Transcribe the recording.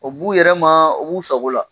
O b'u yɛrɛ ma, o b'u sago la